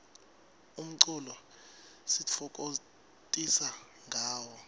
umculo sititfokokotisa ngawo